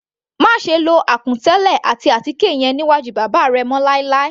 Máṣe lo àkùn tẹ́lẹ̀ àti àtíkè yẹn níwájú bàbá rẹ mọ́ láì láì.